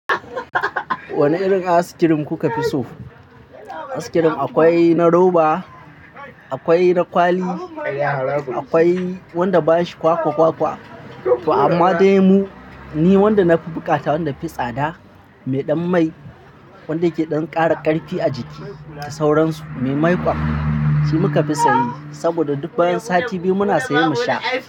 Wane irin ice-cream kuka fi so? Ice-cream akwai na roba, akwai na kwali, akwai wanda bashi kwakwa-kwakwa to amma dai ni wanda na fi bukata wanda yafi tsada mai ɗan mai wanda yake ɗan ƙara ƙarfi a jiki da sauransu, me maiƙon shi muka fi saye saboda duk bayan sati biyu muna siye mu sha.